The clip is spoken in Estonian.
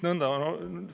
Nõnda!